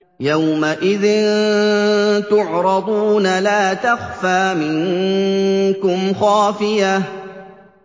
يَوْمَئِذٍ تُعْرَضُونَ لَا تَخْفَىٰ مِنكُمْ خَافِيَةٌ